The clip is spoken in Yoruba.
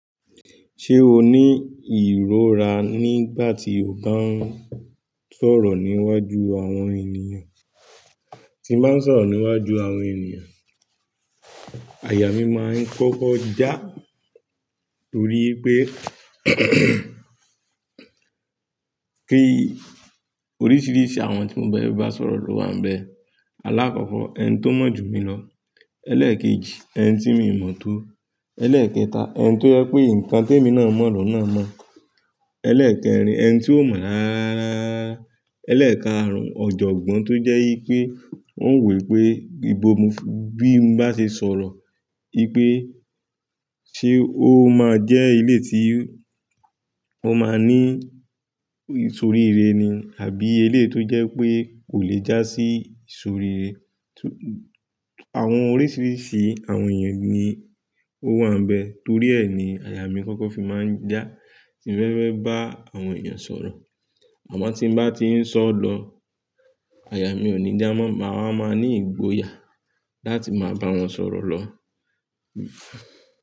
Ṣé o ní ìróra nígbà tí o bá ń sọ̀rọ̀ níwájú àwọn ènìyàn? Tí n bá sọ̀rọ̀ níwájú àwọn ènìyàn, àyà mí máa ń kọ́kọ́ já. Torí pé kí oríṣiríṣi àwọn tí mo má ń bá sọ̀rọ̀ ló wà n bẹ. Alákọ́kọ́ ẹni tó mọ̀ jù mi lọ, ẹlẹ́ẹ̀kejì ẹni tí mi ò mọ̀ tó, ẹlẹ́ẹ̀kẹta ẹni tó jẹ pé nǹkan tèmi náà mọ̀ lọ́hun náà mọ̀, Elẹ́ẹ̀kẹrin ẹni tí ò mọ̀ ráráararaa, ẹlẹ́ẹ̀karùn-ún ọ̀jọ̀gbọ́n tó jẹ́ yí pé ó n wo wipé ìbo mi bí n bá ṣe sọ̀rọ̀. Wipé ṣe ó máa jẹ́ eléyii tí ó máa ní ìsòríire ni àbí eleyii tó jẹ́ wipé kò lè jásí ìsòríire. Àwọn oríṣiríṣi àwọn ènìyàn ni ó wà n bẹ, torí ẹ ni àyà mí kọ́kọ́ fi máa ń já tí mo bá fe ba àwọn ènìyàn sọ̀rọ̀. Àmọ́ tí n bá ti ń sọ lọ, àyà mi ò ní já mọ́, màá máa ní ìgboyà láti máa bá wọn sọ̀rọ̀ lọ.